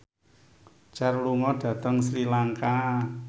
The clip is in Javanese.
Cher lunga dhateng Sri Lanka